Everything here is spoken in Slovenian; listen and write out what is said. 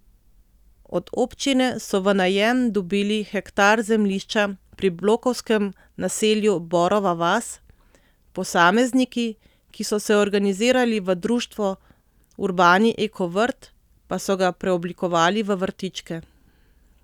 Od občine so v najem dobili hektar zemljišča pri blokovskem naselju Borova vas, posamezniki, ki so se organizirali v društvo Urbani eko vrt, pa so ga preoblikovali v vrtičke.